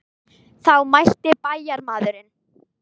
Þá mælti bæjarmaðurinn.